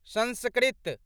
Sanskrit